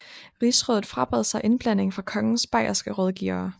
Rigsrådet frabad sig indblanding fra kongens bayerske rådgivere